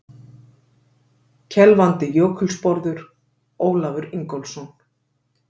Kelfandi jökulsporður: Ólafur Ingólfsson.